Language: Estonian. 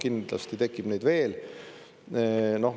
Kindlasti tekib neid veel.